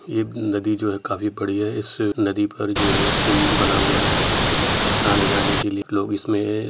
ये नदी जो है काफी बड़ी है इस नदी पर जो है पुल बना हुआ है। आने जाने के लिए लोग इसमें --